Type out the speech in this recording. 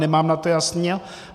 Nemám v tom jasno.